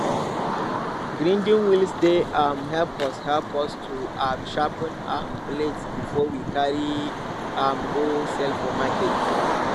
grinding wheels dey um help us help us to um sharpen um blades before we carry am go sell for market